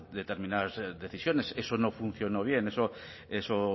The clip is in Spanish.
determinadas decisiones eso no funcionó bien eso